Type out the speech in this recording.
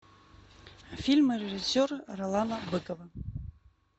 фильмы режиссера ролана быкова